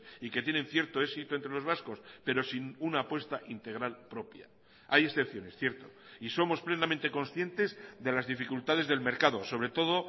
y que tienen cierto éxito entre los vascos pero sin una apuesta integral propia hay excepciones cierto y somos plenamente conscientes de las dificultades del mercado sobre todo